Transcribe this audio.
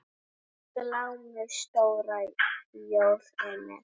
Glámu stóra jór er með.